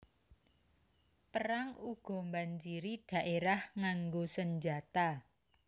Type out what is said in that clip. Perang uga mbanjiri dhaérah nganggo senjata